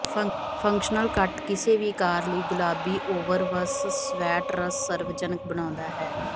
functional cut ਕਿਸੇ ਵੀ ਆਕਾਰ ਲਈ ਗੁਲਾਬੀ ਓਵਰਵਸ ਸਵੈਟਰਸ ਸਰਵਜਨਕ ਬਣਾਉਂਦਾ ਹੈ